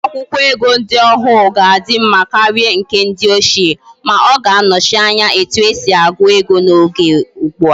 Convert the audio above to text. Akwukwo ego ndi ohuru ga adi mma karia ndi nke ochie, ma oga anochi Anya nke etu esi agu ego na Oge ugbua